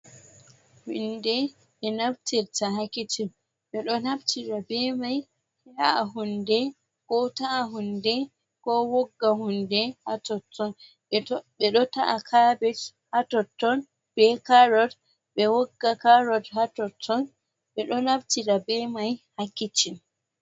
Hunde be naftirta hakicin bedo nabtira be mai ta’a hunde, ko ta’a hunde, ko wogga hunde, hatotton bedo ta’a kabet, hatotton be carod, be wogga carod hatotton be do nabtira be mai ha kicin.